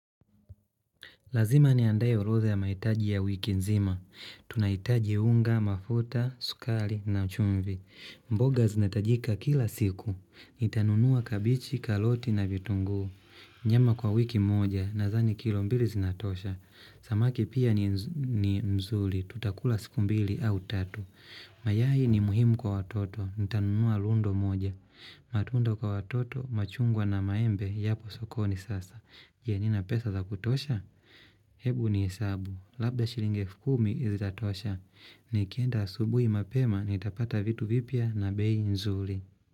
Lazima ni andaye orodha ya maitaji ya wiki nzima. Tunaitaji unga, mafuta, sukali na uchumvi. Mboga zinatajika kila siku. Itanunua kabichi, kaloti na vitunguu. Nyama kwa wiki moja na dhani kilo mbili zinatosha. Samaki pia ni mzuli. Tutakula siku mbili au tatu. Mayai ni muhimu kwa watoto. Itanunuwa lundo moja. Matunda kwa watoto, machungwa na maembe. Yapo sokoni sasa. Je nina pesa za kutosha? Hebu ni hesabu. Labda shilingi elfukumi zitatosha. Nikienda asubui mapema nitapata vitu vipya na bei nzuli.